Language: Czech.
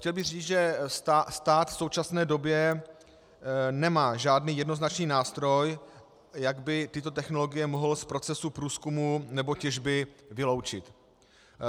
Chtěl bych říci, že stát v současné době nemá žádný jednoznačný nástroj, jak by tyto technologie mohl z procesu průzkumu nebo těžby vyloučit.